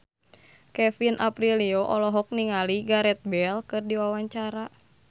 Kevin Aprilio olohok ningali Gareth Bale keur diwawancara